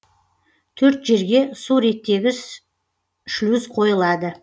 төрт жерге су реттегіш шлюз қойылады